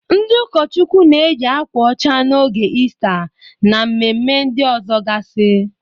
Ndị ụkọchụkwụ na-eyị akwa ọcha n'oge Istaa, na mmemme ndị ọzọgasị.